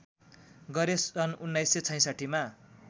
गरे सन् १९६६ मा